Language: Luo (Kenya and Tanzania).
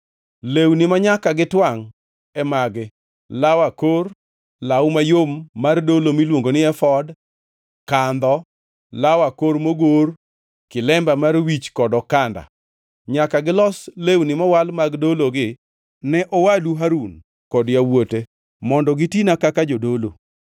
Lewni manyaka gitwangʼ e magi: law akor, law mayom mar dolo miluongo ni efod, kandho, law akor mogor, kilemba mar wich kod okanda. Nyaka gilos lewni mowal mag dologi ne owadu Harun kod yawuote mondo gitina kaka jodolo.